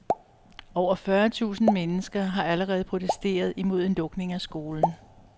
Over fyrre tusind mennesker har allerede protesteret imod en lukning af skolen.